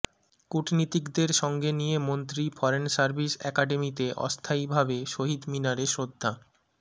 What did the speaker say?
কূটনীতিকদের সঙ্গে নিয়ে মন্ত্রী ফরেন সার্ভিস একাডেমিতে অস্থায়ীভাবে শহীদ মিনারে শ্রদ্ধা